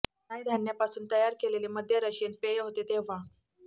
राय धान्यापासून तयार केलेले मद्य रशियन पेय होते तेव्हा